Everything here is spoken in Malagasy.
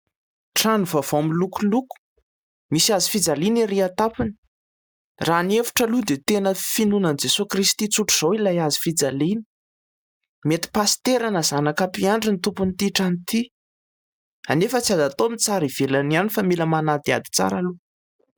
Trano vaovao milokoloko misy hazofijaliana erỳ an-tampony. Raha ny hevitro aloha dia finoana an'i Jesoa Kristy tsotra izao ilay hazofijaliana. Mety pasitera na zanaka mpiandry ny tompon'ity trrano ity. Anefa tsy azo atao ny mitsara ivelany ihany fa mila manadihady tsara aloha.